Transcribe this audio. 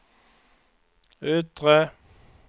yttre